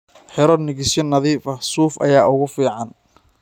Xiro nigisyo nadiif ah, suuf ayaa ugu fiican.